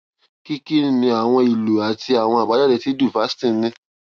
kí kí ni àwọn ìlo àti àwọn àbájáde tí duphaston ní